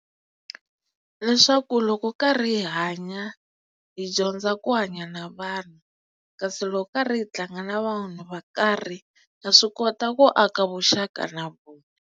Leswaku loko karhi hi hanya hi dyondza ku hanya na vanhu kasi loko karhi hi tlanga na vanhu va karhi va swi kota ku aka vuxaka na vona.